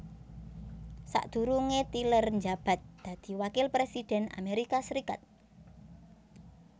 Sakdurunge tyler njabat dadi Wakil Presiden Amerika Serikat